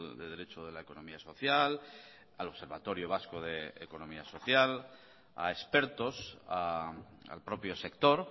de derecho de la economía social al observatorio vasco de economía social a expertos al propio sector